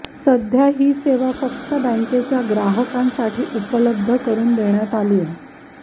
सध्या ही सेवा फक्त बँकेच्या ग्राहकांसाठी उपलब्ध करून देण्यात आलीय